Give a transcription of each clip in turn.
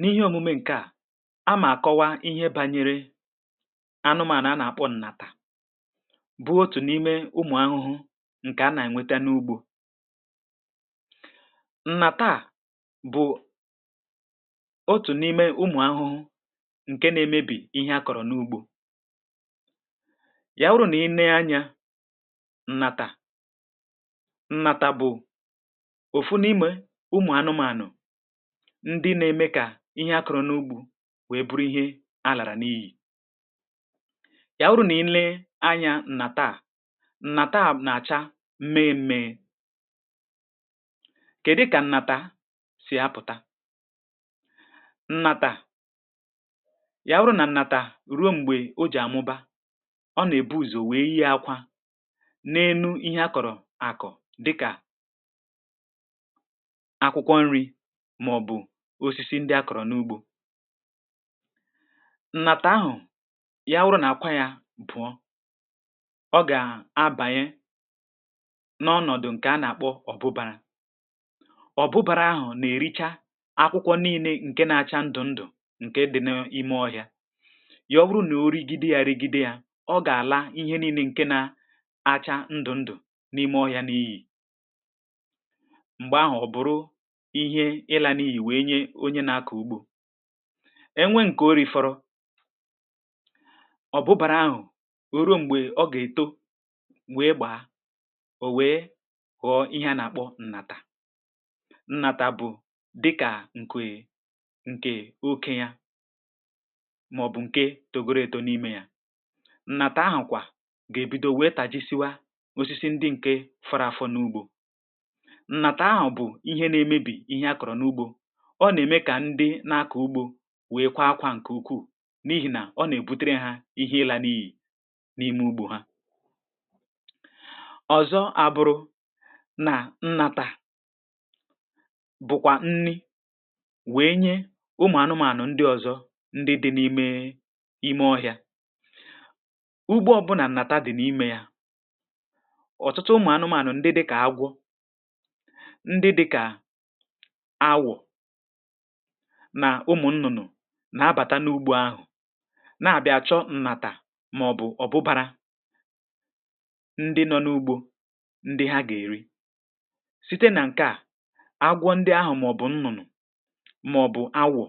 n’ihe òmume ǹkè a a mà kọwa ihe banyere anụmànụ̀ a nà-àkpọ ǹnàtà um bụ otù n’ime ụmụ̀ ahụhụ ǹkè a nà-ènweta n’ugbȯ ǹnàtà bụ̀ otù n’ime ụmụ̀ ahụhụ ǹke na-emebì ihe akọ̀rọ̀ n’ugbȯ ya wụrụ nà i nee anyȧ ǹnàtà ǹnàtà bụ̀ ndị na-eme kà ihe akụ̀rụ̀ n’ugbȯ wèe buru ihe a làrà n’iyì ya wụrụ nà ị lee anya nnà taa nà taa nà-àcha mee mėė kèdụ kà nnàta sì apụ̀ta nnàtà ya wụrụ nà nnàtà ruo m̀gbè o jì àmụba ọ nà-èbu ùzò wee ihe akwa n’enu ihe akọ̀rọ̀ àkụ̀ dịkà màọ̀bụ̀ osisi ndị akọ̀rọ̀ n’ugbȯ um nnàtà ahụ̀ ya wụrụ nà-àkwa yȧ bụ̀ọ ọ gà-abanye n’ọnọ̀dụ̀ ǹkè a nà-àkpọ ọ̀bụbȧrȧ ọ̀bụbȧrȧ ahụ̀ nà-ericha akwụkwọ nii̇ne ǹke na-acha ndụ̀ ndụ̀ ǹke dị̇ n’ime ọhịȧ ya ọ bụrụ nà origide yȧ regide yȧ ọ gà-àla ihe nii̇ne ǹke na acha ndụ̀ ndụ̀ n’ime ọhịȧ n’iyì onye na-akọ̀ ugbȯ enwe nke o reforọ ọ bụbàrà ahụ̀ ruo m̀gbè ọ gà-èto wee gbàa ò wee ghọ̀ọ ihe a nà-àkpọ ǹnàtà ǹnàtà bụ̀ dịkà ǹkè è ǹkè oke ya màọ̀bụ̀ ǹke togo reto n’ime ya nnàtà ahụ̀kwa ga-ebido wee tàji siwa osisi ndị ǹke fọrọ afọ̀ n’ugbȯ ọ nà-ème kà ndị na-akà ugbȯ wèe kwá ákwá ǹkè ukwuù um n’ihì nà ọ nà-èbutere hȧ ihe ịlà n’ì n’ime ugbȯ hȧ ọ̀zọ abụrụ̇ nà nnàtà bụ̀kwà nni wèe nye ụmụ̀ anụmȧnụ̀ ndị ọ̀zọ ndị dị n’ime ime ọhị̀a ugbo ọ bụnà nnàta dị n’imė yȧ ọ̀tụtụ ụmụ̀ anụmȧnụ̀ ndị dị kà agwọ ndị dị kà nà ụmụ̀ nnụ̀nụ̀ nà-abàta n’ugbo ahụ̀ na-àbịa chọ ǹnàtà màọ̀bụ̀ ọ̀bụbȧrȧ ndị nọ n’ugbȯ ndị ha gà-èri site nà ǹkè a agwọ ndị ahụ̀ màọ̀bụ̀ nnụ̀nụ̀ màọ̀bụ̀ awọ̀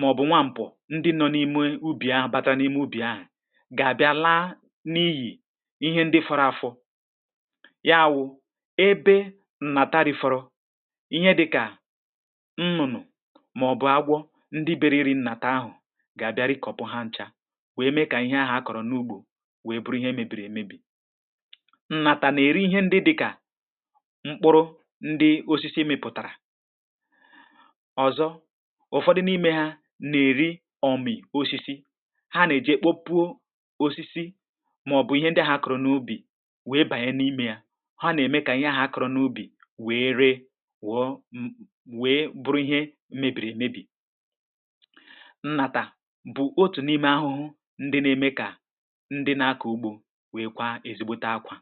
màọ̀bụ̀ nwa ṁpọ̀ ndị nọ n’ime ubì ahụ̀ batara n’ime ubì ahụ̀ gà-àbịa laa n’ịyì ihe ndị fọrọ afọ ya wụ̇ ebe maọbụ̀ agwọ̇ ndị meriri nnàtà ahụ̀ ga-abịara i kọ̀pụ ha nchȧ wee mee kà ihe ahà akọ̀rọ̀ n’ugbȯ wee buru ihe mebiri emebi̇ nnàtà nà-eri ihe ndị dịkà mkpụrụ ndị osisi mepụ̀tàrà ọzọ ụfọdụ n’ime ha nà-èri ọmị̀ osisi ha nà-èji èkpọpụo osisi maọ̀bụ̀ ihe ndị ahà akọ̀rọ̀ n’ubì wee bànye n’ime yȧ mebìrì èmebì ǹnàtà bụ̀ otù n’ime ahụhụ ndị n’eme kà ndị na-akọ̀ ugbȯ wèe kwa ezigbote akwà